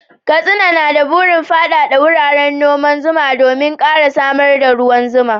Katsina na da burin faɗaɗa wuraren noman zuma domin ƙara samar da ruwan zuma.